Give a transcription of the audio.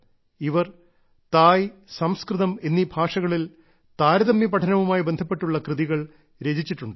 ഇവർ തായ് സംസ്കൃതം എന്നീ ഭാഷകളിൽ താരതമ്യ പഠനവുമായി ബന്ധപ്പെട്ടുള്ള കൃതികൾ രചിച്ചിട്ടുണ്ട്